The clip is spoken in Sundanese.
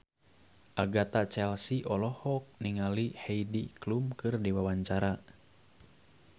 Agatha Chelsea olohok ningali Heidi Klum keur diwawancara